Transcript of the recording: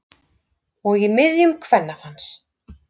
Og í miðjum kvennafans.